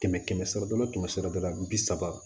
Kɛmɛ kɛmɛ sara la kɛmɛ sira dɔ la bi saba